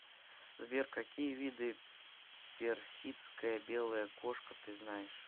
сбер какие виды персидская белая кошка ты знаешь